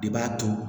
De b'a to